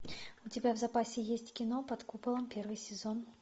у тебя в запасе есть кино под куполом первый сезон